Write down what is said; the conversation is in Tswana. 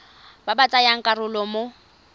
ba ba tsayang karolo mo